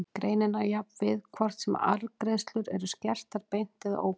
Greinin á jafnt við hvort sem arðgreiðslur eru skertar beint eða óbeint.